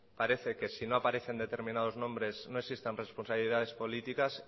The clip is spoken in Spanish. parece que si no aparecen determinados nombres no existan responsabilidades políticas